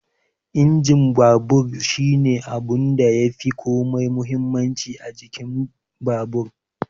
Injin babur shine abunda yafi komai muhimmanci a jikin babur